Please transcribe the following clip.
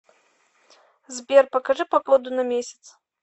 сбер покажи погоду на месяц